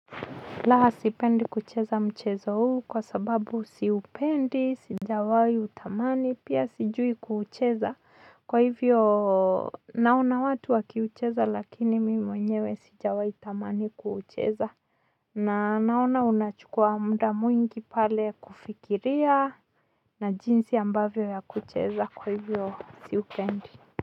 La, sipendi kucheza mchezo huu kwa sababu siupendi, sijawahi utamani, pia sijui kuucheza. Kwa hivyo naona watu wakiucheza lakini mimi mwenyewe sijawahi tamani kucheza. Na naona unachukua muda mwingi pale kufikiria na jinsi ambavyo ya kucheza, kwa hivyo siupendi.